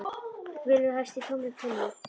Bylur hæst í tómri tunnu, kallaði kona Marteins.